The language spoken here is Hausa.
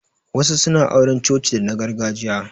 Wasu suna yin auran coci dana gargajiya.